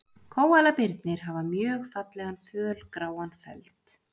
Kóalabirnir hafa mjög fallegan fölgráan feld.